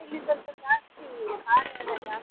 ಇಲ್ಲಿ ಸ್ವಲ್ಪ ಜಾಸ್ತಿ ಖಾರಾಯೆಲ್ಲ ಜಾಸ್ತಿ.